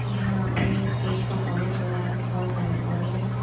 ये यहां पे स्टेज परफॉर्मेंस हो रहा है बहोत सारी ऑडियंस है।